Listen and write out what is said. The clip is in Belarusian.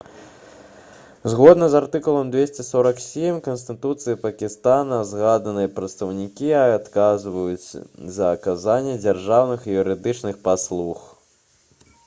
згодна з артыкулам 247 канстытуцыі пакістана згаданыя прадстаўнікі адказваюць за аказанне дзяржаўных і юрыдычных паслуг